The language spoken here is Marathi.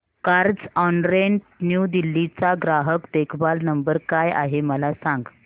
कार्झऑनरेंट न्यू दिल्ली चा ग्राहक देखभाल नंबर काय आहे मला सांग